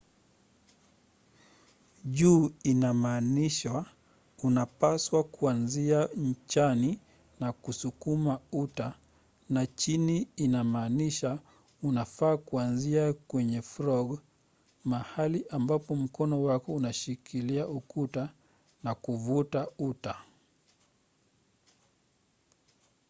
juu inamaanisha unapaswa kuanzia nchani na kusukuma uta na chini inamaanisha unafaa kuanzia kwenye frog mahali ambapo mkono wako unashikilia uta na kuvuta uta